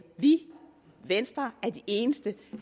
vi venstre er de eneste